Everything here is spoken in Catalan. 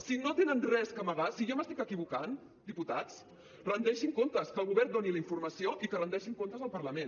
si no tenen res a amagar si jo m’estic equivocant diputats rendeixin comptes que el govern doni la informació i que rendeixin comptes al parlament